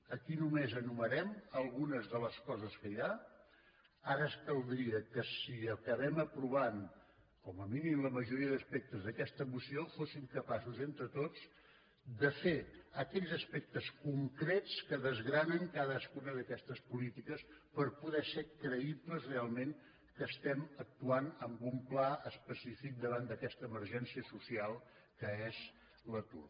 aquí només enumerem algunes de les coses que hi ha ara caldria que si acabem apro·vant com a mínim la majoria d’aspectes d’aquesta mo·ció fóssim capaços entre tots de fer aquells aspectes concrets que desgranen cadascuna d’aquestes políti·ques per poder ser creïbles realment que estem actu·ant amb un pla específic davant d’aquesta emergència social que és l’atur